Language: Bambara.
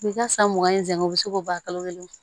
I bi ka san mugan in sɛngɛ u bi se k'o ban kalo kelen